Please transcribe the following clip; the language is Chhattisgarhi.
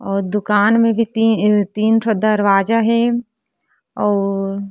और दुकान मे भी ती तीन ठो दरवाजा हे और --